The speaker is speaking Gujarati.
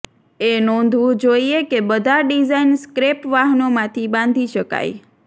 એ નોંધવું જોઇએ કે બધા ડિઝાઇન સ્ક્રેપ વાહનો માંથી બાંધી શકાય